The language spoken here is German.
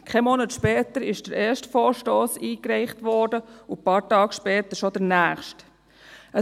Keinen Monat später wurde der erste Vorstoss eingereicht und ein paar Tage danach schon der nächste .